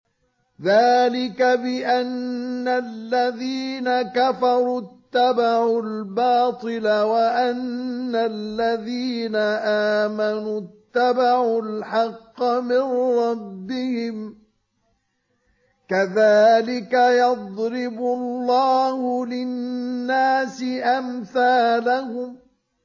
ذَٰلِكَ بِأَنَّ الَّذِينَ كَفَرُوا اتَّبَعُوا الْبَاطِلَ وَأَنَّ الَّذِينَ آمَنُوا اتَّبَعُوا الْحَقَّ مِن رَّبِّهِمْ ۚ كَذَٰلِكَ يَضْرِبُ اللَّهُ لِلنَّاسِ أَمْثَالَهُمْ